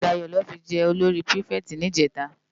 Dayo lò fi jè ólóri pirifèti nijètá